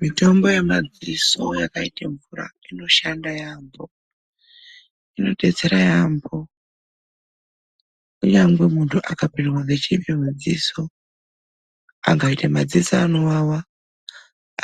MITOMBO YEMADZISO YAKAITE MVURA INOSHANDA YAAMHO. INODETSERA YAAMHO KUNYANGE MUNTU AKAPINDWA NGECHIPI MUDZISO, AKAITA MADZISO ANOWAWA